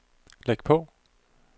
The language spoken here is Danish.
læg på